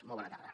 molt bona tarda